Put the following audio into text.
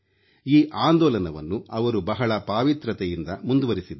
ಈ ಆಂದೋಲನವನ್ನು ಅವರು ಬಹಳ ಪಾವಿತ್ರ್ಯತೆಯಿಂದ ಮುಂದುವರಿಸಿದ್ದಾರೆ